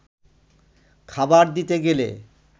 খাবার দিতে গেলে